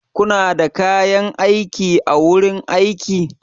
Kuna da kayan aiki a wurin aiki?